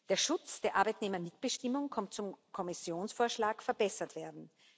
Der Schutz der Arbeitnehmermitbestimmung konnte zum Kommissionsvorschlag verbessert werden.